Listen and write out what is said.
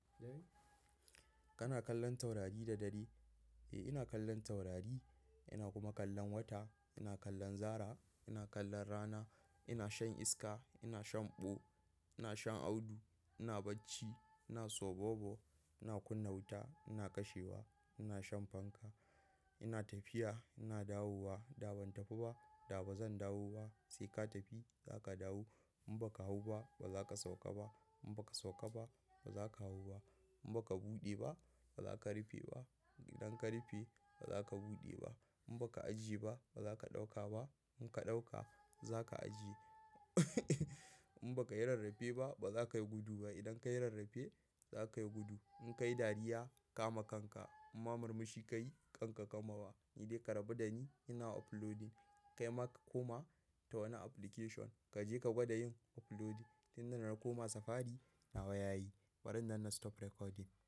Kana kallon taurari da dare? Eh, ina kallon taurari, ina kuma kallon wata, ina kallon zara, ina kallon rana, ina shan iska, ina shan ɓo, ina shan audu, ina bacci, ina soɓoɓo, ina kunna wuta, ina kashewa, ina shan fanka, ina tafiya, ina dawowa. Da ban tafi ba, da ba zan dawo ba. Sai ka tafi, za ka dawo. In ba ka hau ba, ba za ka sauka ba. In ba ka sauka ba, ba za ka hau ba. In ba ka buɗe ba, ba za ka rufe ba. Idan ka rufe, ba za ka buɗe ba. In ba ka ajiye ba, ba za ka ɗauka ba. In ka ɗauka, za ka ajiye. In ba ka yi rarrafe ba, ba za ka yi gudu ba. Idan ka yi rarrafe, za ka yi gudu. In ka yi dariya, kama kanka. In ma marmushi ka yi, kanka ka bar ma ba. Ni dai ka rabu da ni, ina uploading. Kai ma ka komata wani application, ka je ka gwada yin uploading. Tin na koma safari, nawa ya yi? Bari nan na stop recording.